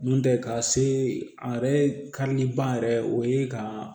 N'o tɛ ka se a yɛrɛ kaliba yɛrɛ o ye ka